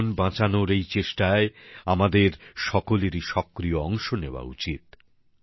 জীবন বাঁচানোর এই চেষ্টায় আমাদের আমাদের সকলেরই সক্রিয় অংশ নেওয়া উচিত